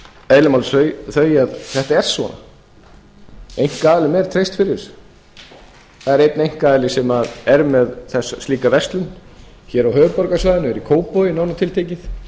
eðli máls þau að þetta er svona einkaaðilum er treyst fyrir þessu það er einn einkaaðili sem er með slíka verslun hér á höfuðborgarsvæðinu er í kópavogi nánar tiltekið